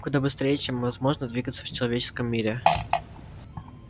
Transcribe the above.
куда быстрее чем возможно двигаться в человеческом мире